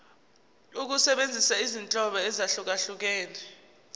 ukusebenzisa izinhlobo ezahlukehlukene